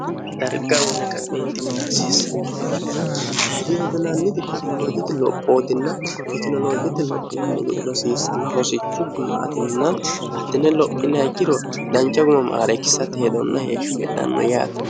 darga mune ka'neintiminaasissa korkaatno hayirii wotinanniti ketinoloojoti lophootinna fitinoloojeti lophinanni geri rosiissanna rosichu gumaatinna hattine lophinaikkiro dancha gumamaareikkisatti hedonna heeshfhi hedhanno yaati